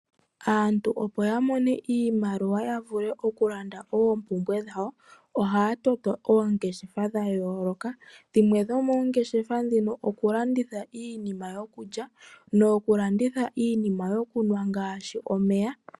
Aantu opo ya mone iimaliwa ya vule okulanda oompumbwe dhawo, ohaya toto oongeshefa dha yooloka. Dhimwe dhomoongeshefa ndhino okulanditha iinima yokulya nokulanditha iinima yokunwa ngaashi omeya.